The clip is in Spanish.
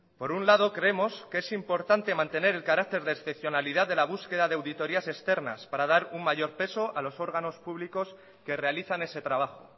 por un lado creemos que es importante mantener el carácter de excepcionalidad de la búsqueda de auditorías externas para dar un mayor peso a los órganos públicos que realizan ese trabajo